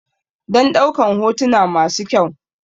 Dan ɗaukan hotuna masu kyau